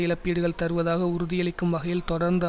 இழப்பீடுகள் தருவதாக உறுதியளிக்கும் வகையில் தொடர்ந்து